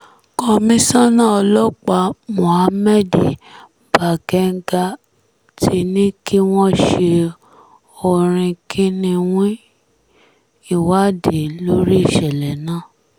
komisanna ọlọ́pàá mohammed bagenga ti ní kí wọ́n ṣe orinkinniwín ìwádìí lórí ìṣẹ̀lẹ̀ náà